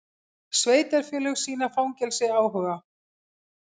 Sveitarfélög sýna fangelsi áhuga